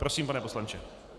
Prosím, pane poslanče.